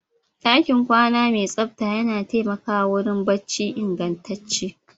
ɗakin kwana mai tsabta yana taimakawa wurin barci ingantacce